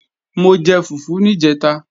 Mo jẹ fùfú níjẹ̀ta